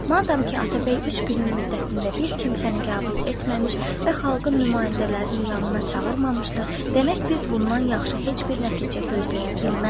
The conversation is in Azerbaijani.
Madam ki, Atabəy üç günün müddətində bir kimsəni qəbul etməmiş və xalqın nümayəndələrini yanına çağırmamışdı, demək biz bundan yaxşı heç bir nəticə gözləyə bilmərik.